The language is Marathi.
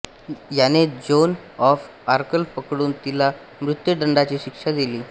याने जोन ऑफ आर्कला पकडून तिला मृत्यूदंडाची शिक्षा दिली